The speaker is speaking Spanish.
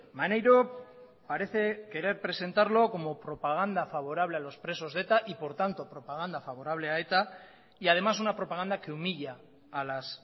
maneiro parece querer presentarlo como propaganda favorable a los presos de eta y por tanto propaganda favorable a eta y además una propaganda que humilla a las